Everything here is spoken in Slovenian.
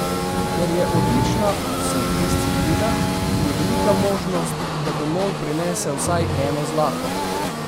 Ker je odlična v vseh disciplinah, je velika možnost, da domov prinese vsaj eno zlato.